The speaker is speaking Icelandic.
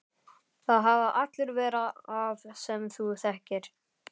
Það hafa allir verra af sem þú þekkir!